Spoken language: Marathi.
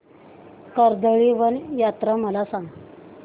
कर्दळीवन यात्रा मला सांग